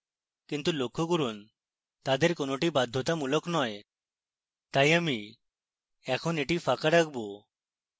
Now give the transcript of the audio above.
কিন্তু লক্ষ্য করুন তাদের কোনোটি বাধ্যতামূলক নয় তাই আমি এখন এটি ফাঁকা রাখবো